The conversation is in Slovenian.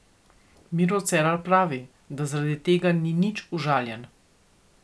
Miro Cerar pravi, da zaradi tega ni nič užaljen.